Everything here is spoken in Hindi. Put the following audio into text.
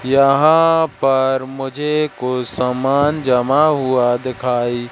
यहां पर मुझे कुछ समान जमा हुआ दिखाई--